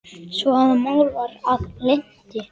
svo að mál var að linnti.